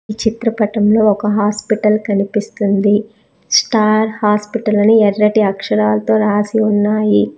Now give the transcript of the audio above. చిత్రపటంలో ఒక హాస్పెటల్ కనిపిస్తుంది స్టార్ హాస్పిటల్ అని ఎర్రటి అక్షరాలతో రాసి ఉన్నాయి.